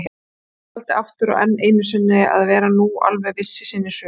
Emil taldi aftur og enn einusinni til að vera nú alveg viss í sinni sök.